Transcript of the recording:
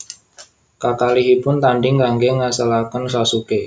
Kakalihipun tanding kangge ngangsalaken Sasuke